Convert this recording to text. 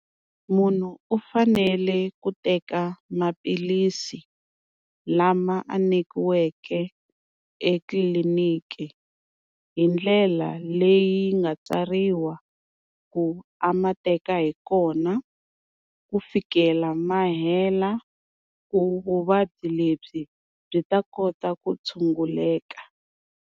Munhu u fanele ku teka maphilisi lama a nyikiweke etliliniki hi ndlela leyi nga tsariwa ku a ma teka hi kona ku fikela ma hela ku vuvabyi lebyi byi ta kota ku tshunguleka.